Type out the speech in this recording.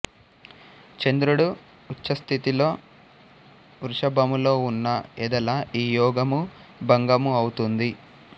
చంద్రుడు ఉచ్ఛస్థితిలో వృషభములో ఉన్న ఎదల ఈ యోగము భంగము ఔతుంది